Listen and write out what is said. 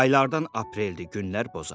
Aylardan apreldir, günlər bozarır.